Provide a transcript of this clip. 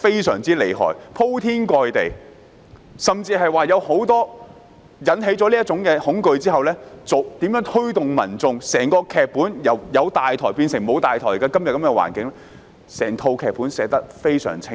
宣傳片鋪天蓋地，而在引起市民恐懼後，如何推動民眾由"有大台"變為"沒有大台"，以至演變至今天的情況，整個劇本寫得非常清楚。